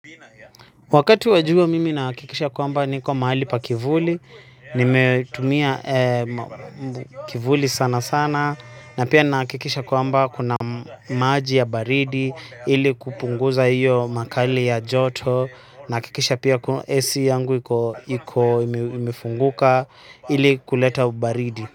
Wakati wajua mimi nahakikisha kwamba niko mahali pa kivuli, nimetumia kivuli sana sana, na pia nahakikisha kwamba kuna maji ya baridi, ili kupunguza iyo makali ya joto, nahakikisha pia AC yangu iko imefunguka, ili kuleta baridi.